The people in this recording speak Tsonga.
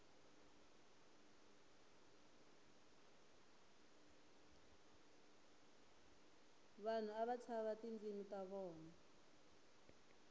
vanhu ava tshava tindzimu ta vona